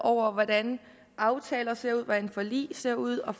over hvordan aftaler ser ud hvordan forlig ser ud og